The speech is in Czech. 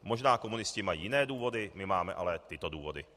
Možná komunisté mají jiné důvody, my máme ale tyto důvody.